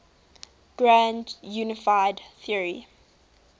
grand unified theory